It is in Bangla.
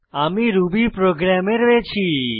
আমরা রুবিপ্রোগ্রাম এ রয়েছি